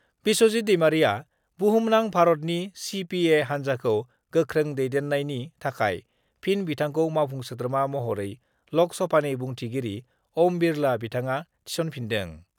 बिस्वजित दैमारिआ बुहुमनां भारतनि सिपिए हान्जाखौ गोख्रों दैदन्नायनि थाखाय फिन बिथांखौ मावफुं सोद्रोमा महरै लक सभानि बुंथिगिरि ओम बिरला बिथाङा थिसनफिनदों।